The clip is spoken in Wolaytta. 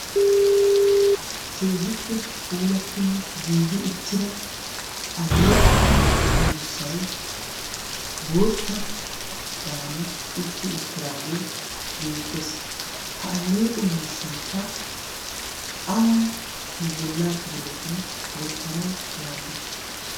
keehippe puulattinne giigi uttira alleeqo miishshai bootta baane uttido tiraagee beettees. ha alleeqo miishshaikka awan nu bollaa kibiletun wottanawu maaddi?